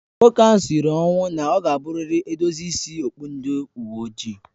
Nwoke ahụ sịrị ọnwụ na ọ ga abụ rịrị edozi ịsị okpụ ndị uwe ojii